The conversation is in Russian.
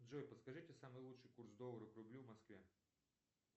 джой подскажите самый лучший курс доллара к рублю в москве